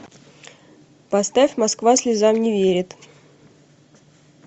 поставь москва слезам не верит